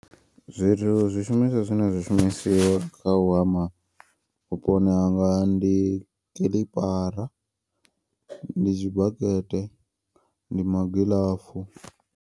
Zwithu zwishumiswa zwine zwa shumisiwa kha u hama vhuponi hanga ndi kilipara, ndi zwibakete, ndi magiḽafu.